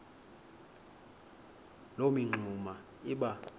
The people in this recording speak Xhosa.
loo mingxuma iba